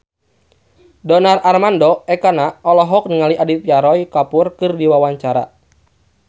Donar Armando Ekana olohok ningali Aditya Roy Kapoor keur diwawancara